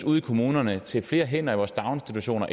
ude i kommunerne til flere hænder i vores daginstitutioner